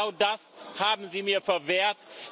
Genau das haben Sie mir verwehrt.